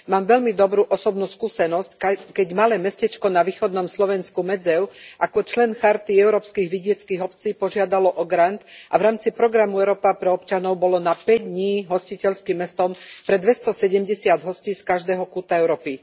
Mám veľmi dobrú osobnú skúsenosť, keď malé mestečko na východnom Slovensku Medzev ako člen Charty európskych vidieckych obcí požiadalo o grant a v rámci programu Európa pre občanov bolo na päť dní hostiteľským mestom pre 270 hostí z každého kúta Európy.